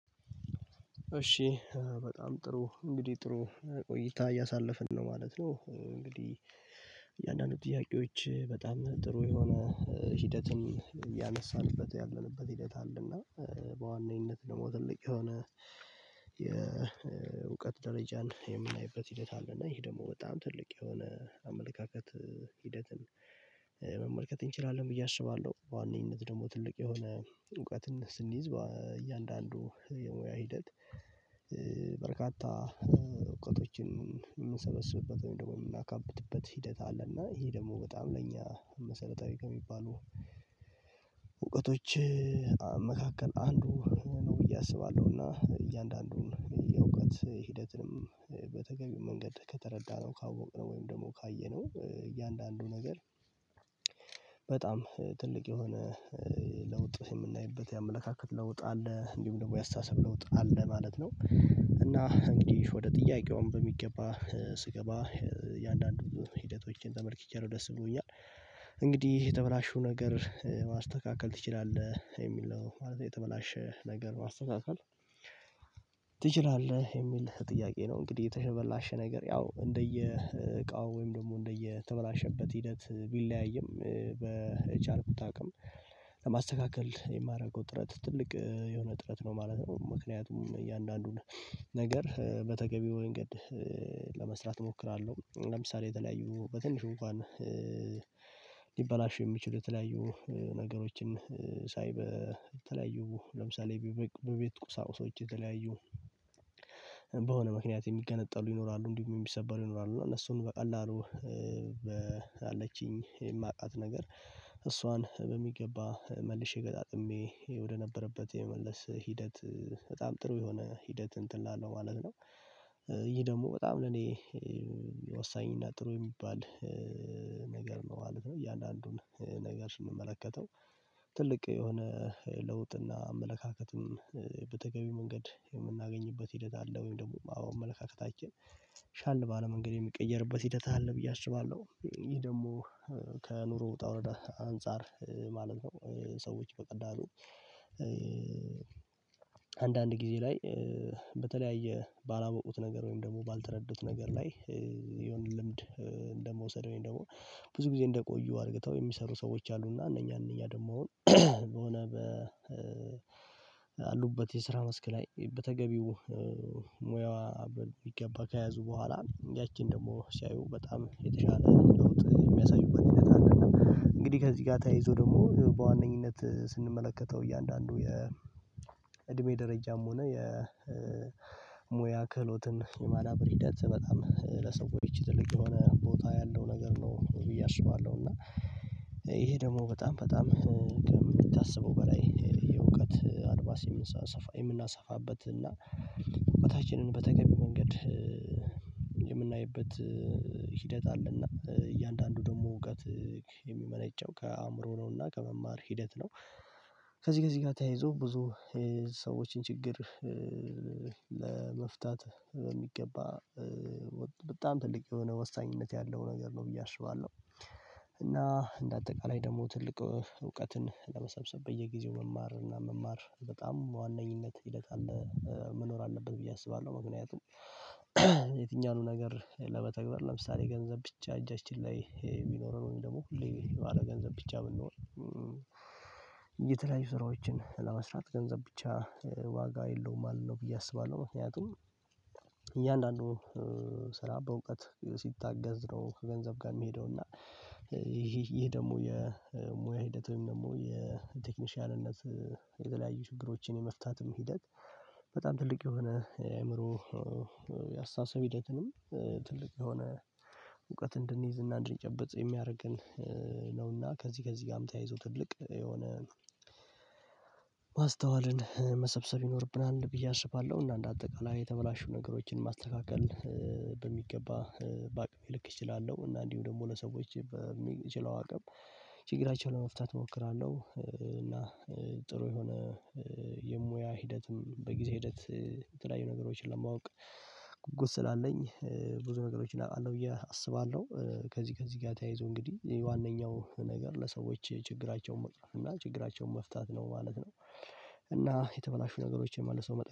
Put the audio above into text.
እሺ በጣም ጥሩ እንግዲህ ጥሩ ቆይታ እያሳለፍን ነው ማለት ነው። እንግዲህ እያንዳንዱ ጥያቄዎች በጣም ጥሩ የሆነ ሂደትን ያነሳንበት ያለንበት ሂደት አለና በዋነኝነት ደግሞ ትልቅ የሆነ የእውቀት ደረጃን የምናይበት ሂደት አለ። እና ይሄ ደግሞ በጣም ትልቅ የሆነ አመለካከት ሂደትን መመልከት እንችላለን ብዬ አስባለሁ። በዋነኝነት ደግሞ ትልቅ የሆነ እውቀትን ስንይዝ እያንዳንዱ የሙያ ሂደት በርካታ እውቀቶችን የምንሰበስብበት ወይም የምናካብትበት ሂደት አለና ይሄ ደግሞ በጣም ለእኛ መሰረታዊ ከሚባሉ እውቀቶች መካከል አንዱ ነው ብዬ አስባለሁና እያንዳንዱን የእውቀት ሂደትንም በተገቢው መንገድ ከተረዳነው ካወቅነው ወይም ደግሞ ካየነው እያንዳንዱ ነገር በጣም ትልቅ የሆነ ለውጥ የምናይበት ያመለካከት ለውጥ አለ እንዲሁም ደግሞ ያስተሳሰብ ለውጥ አለ ማለት ነው። እና እንግዲህ ወደ ጥያቄውም በሚገባ ስገባ የአንዳንድ ሂደቶችን ተመልክቼ ነው ደስ ብሎኛል። እንግዲህ የተበላሹ ነገር ማስተካከል ትችላለህ የሚል ነው ማለት የተበላሸ ነገር ማስተካከል ትችላለህ የሚል ጥያቄ ነው? እንግዲህ የተበላሸ ነገር ያው እንደየ እቃው ወይም ደግሞ እንደየተበላሸበት ሂደት ቢለያይም በቻልኩት አቅም ለማስተካከል የማደርገው ጥረት ትልቅ የሆነ ጥረት ነው ማለት ነው። ምክንያቱም እያንዳንዱን ነገር በተገቢው መንገድ ለመስራት እሞክራለሁ። ለምሳሌ የተለያዩ በትንሹ እንኳን ሊበላሹ የሚችሉ የተለያዩ ነገሮችን ሳይበ የተለያዩ ለምሳሌ በቤት ቁሳውሶች የተለያዩ በሆነ ምክንያት የሚገነጠሉ ይኖራሉ እንዲሁም የሚሰበሩ ይኖራሉ እና እነሱን በቀላሉ አለችኝ የማውቃት ነገር እሷን በሚገባ መልሼ ገጣጥሜ ወደነበረበት የመመለስ ሂደት በጣም ጥሩ የሆነ ሂደት እንትን አለው ማለት ነው። ይሄ ደግሞ በጣም ለእኔ ወሳኝ እና ጥሩ የሚባል ነገር ነው ማለት ነው። እያንዳንዱን ነገር ስንመለከተው ትልቅ የሆነ ለውጥና አመለካከትም በተገቢ መንገድ የምናገኝበት ሂደት አለ። ወይም ደግሞ አመለካከታችን ሻል ባለ መንገድ የሚቀየርበት ሂደት አለ። ብዬ አስባለሁ ይሄ ደግሞ ከኑሮ ወጣውረዳ አንፃር ማለት ነው ሰዎች በቀላሉ አንዳንድ ጊዜ ላይ በተለያየ ባላወቁት ነገር ወይም ደግሞ ባልተረዱት ነገር ላይ የሆነ ልምድ እንደመውሰድ ወይም ደግሞ ብዙ ጊዜ እንደቆዩ አድርገው የሚሰሩ ሰዎች አሉና እነኛ እነኛ ደግሞ በሆነ በ ባሉበት የስራ መስክ ላይ በተገቢው ሙያዋ ቢገባ ከያዙ በኋላ ያቺን ደግሞ ሲያዩ በጣም የተሻለ የሚያሳዩበት ሁኔታ ነው። እንግዲህ ከዚህ ጋር ተያይዞ ደግሞ በዋነኝነት ስንመለከተው እያንዳንዱ የእድሜ ደረጃም ሆነ የሙያ ክህሎትን የማዳበር ሂደት በጣም ለሰዎች ትልቅ የሆነ ቦታ ያለው ነገር ነው ብዬ አስባለሁ። እና ይሄ ደግሞ በጣም በጣም ከምታስበው በላይ የእውቀት አድማስ የምናሰፋበት እና የበታችንን በተገቢው መንገድ የምናይበት ሂደት አለና እያንዳንዱ ደግሞ እውቀት የሚመነጨው ከአእምሮ ነውና ከመማር ሂደት ነው። ከዚህ ከዚህ ጋር ተያይዞ ብዙ ሰዎችን ችግር ለመፍታት በሚገባ በጣም ትልቅ የሆነ ወሳኝነት ያለው ነገር ነው ብዬ አስባለሁ። እና እንደ አጠቃላይ ደግሞ ትልቅ እውቀትን ለመሰብሰብ በየጊዜው መማር እና መማር በጣም ዋነኝነት ይለቃል መኖር አለበት ብዬ አስባለሁ። ምክንያቱም የትኛውንም ነገር ለመተግበር ለምሳሌ ገንዘብ ብቻ እጃችን ላይ የሚኖረን ወይም ደግሞ ሁሌ ባለ ገንዘብ ብቻ የምንኖር የተለያዩ ስራዎችን ለመስራት ገንዘብ ብቻ ዋጋ የለውም አለው ብዬ አስባለሁ። ምክንያቱም እያንዳንዱ ስራ በእውቀት ሲታገዝ ነው ከገንዘብ ጋር የሚሄደው እና ይህ ይህ ደግሞ የሙያ ሂደት ወይም ደግሞ የቴክኒሻልነት የተለያዩ ችግሮችን የመፍታትም ሂደት በጣም ትልቅ የሆነ የአእምሮ የአስተሳሰብ ሂደትንም ትልቅ የሆነ እውቀት እንድንይዝ እና እንድንጨበጥ የሚያደርገን ነውና ከዚህ ከዚህ ጋርም ተያይዞ ትልቅ የሆነ ማስተዋልን መሰብሰብ ይኖርብናል ብዬ አስባለሁ። እና አንደ አጠቃላይ የተበላሹ ነገሮችን ማስተካከል በሚገባ በአቅሜ ልክ እችላለሁ እና እንዲሁ ደግሞ ለሰዎች በምችለው አቅም ችግራቸውን ለመፍታት እሞክራለሁ። እና ጥሩ የሆነ የሙያ ሂደትም በጊዜ ሂደት የተለያዩ ነገሮችን ለማወቅ ጉጉት ስላለኝ ብዙ ነገሮች አውቃለሁ ብዬ አስባለሁ። ከዚህ ከዚህ ጋር ተያይዞ እንግዲህ ዋነኛው ነገር ለሰዎች ችግራቸውን መወጣት እና ችግራቸውን መፍታት ነው ማለት ነው። እና የተበላሹ ነገሮችን መልሰው